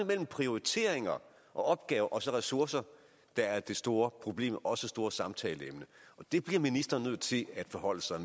mellem prioriteringer og opgaver og så ressourcer der er det store problem og også det store samtaleemne og det bliver ministeren nødt til at forholde sig